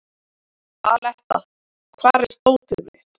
Aletta, hvar er dótið mitt?